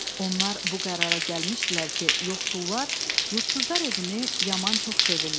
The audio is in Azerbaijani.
Onlar bu qərara gəlmişdilər ki, yoxsullar yurdsuzlar evini yaman çox sevirlər.